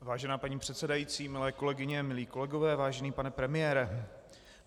Vážená paní předsedající, milé kolegyně, milí kolegové, vážený pane premiére.